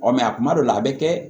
Ɔ a kuma dɔw la a bɛ kɛ